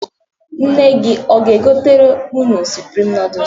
Nne gi aga-egotere unu suprim nọọdụs?